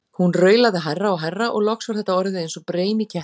Hún raulaði hærra og hærra og loks var þetta orðið eins og breim í ketti.